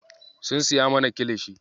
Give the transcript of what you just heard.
Sun siya mana kilishi.